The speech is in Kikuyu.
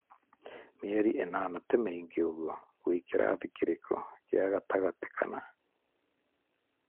mĩeri ĩnana ti mĩingĩ ũguo. wĩkĩrathi kĩrĩkũ gĩa gatagatĩ kana?